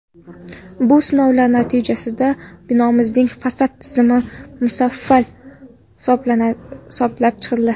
Bu sinovlar natijasida binomizning fasad tizimi mufassal hisoblab chiqildi.